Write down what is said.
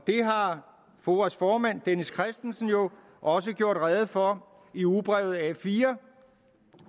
har foas formand dennis christensen jo også gjort rede for i ugebrevet a4